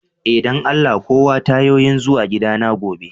Eh, dan Allah kawo tayoyin zuwa gida na gobe.